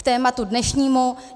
K tématu dnešnímu.